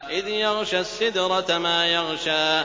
إِذْ يَغْشَى السِّدْرَةَ مَا يَغْشَىٰ